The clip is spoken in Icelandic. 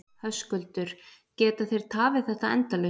Höskuldur: Geta þeir tafið þetta endalaust?